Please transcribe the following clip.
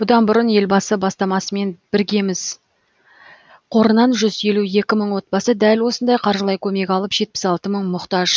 бұдан бұрын елбасы бастамасымен біргеміз қорынан жүз елу екі мың отбасы дәл осындай қаржылай көмек алып жетпіс алты мың мұқтаж